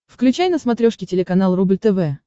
включай на смотрешке телеканал рубль тв